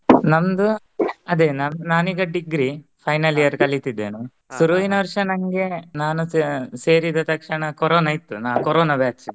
ನಂದು ಅದೇ ನಾನ್ ಈಗಾ degree final year ಕಲಿತಿದ್ದೇನೆ ಸುರುವಿನ ವರ್ಷ ನಂಗೆ ನಾನು ಸೇರಿ ಸೇರಿದ ತಕ್ಷಣ ಕರೋನ ಇತ್ತು ನಾ ಕರೋನಾ batch